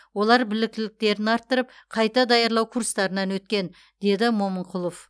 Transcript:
олар біліктіліктерін арттырып қайта даярлау курстарынан өткен деді момынқұлов